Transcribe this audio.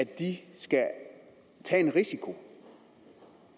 de skal tage en risiko